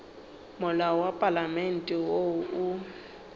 molao wa palamente wo o